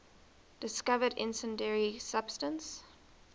discovered incendiary substance